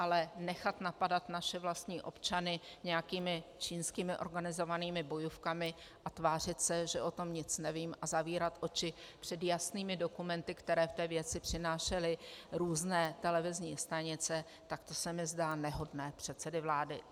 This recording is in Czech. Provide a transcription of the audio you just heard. Ale nechat napadat naše vlastní občany nějakými čínskými organizovanými bojůvkami a tvářit se, že o tom nic nevím, a zavírat oči před jasnými dokumenty, které v té věci přenášely různé televizní stanice, tak to se mi zdá nehodné předsedy vlády.